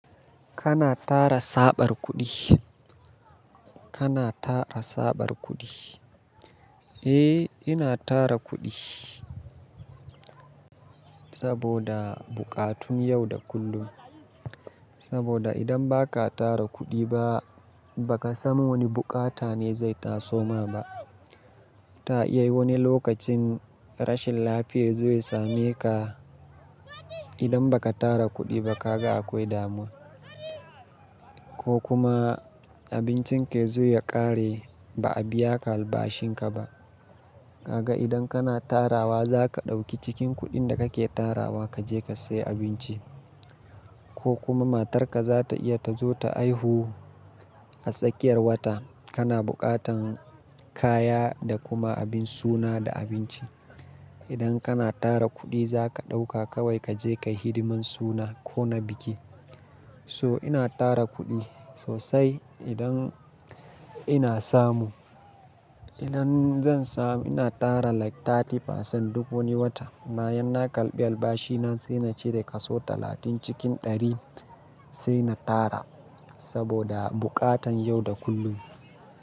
Kana tara saɓar kuɗi? Kana tara saɓar kuɗi? Eh, ina tara kuɗi saboda buƙatun yau da kullum. Saboda idan ba ka tara kuɗi ba, ba ka san wane bukata ne zai taso ma ba. Ta iya wani lokacin rashin lafiya zai same ka. Idan ba ka tara kuɗi ba ka ga akwai damuwa. Ko kuma abincin ka yazo ya ƙare ba a biya ka albashin ka ba. Ka ga idan kana tarawa za ka ɗauki cikin kuɗin da kake tarawa ka je ka sayi abinci. Ko kuma matarka za ta iya ta zo ta haihu a tsakiyar wata. Kana buƙatan kaya da kuma abin suna da abinci. Idan kana tara kuɗi za ka ɗauka kawai ka je ka hidiman suna ko na biki. So ina tara kuɗi sosai idan ina samu. Idan zan samu ina tara like 30% duk wani wata. Bayan na kalbi albashi na sai na cere kaso talatin cikin ɗari sai na tara saboda buƙatan yau da kullum.